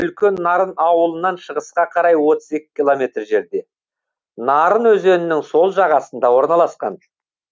үлкен нарын ауылынан шығысқа қарай отыз екі километр жерде нарын өзенінің сол жағасында орналасқан